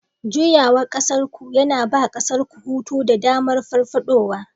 Juyawa ƙasarku yana ba ƙasarku hutu da damar farfadowa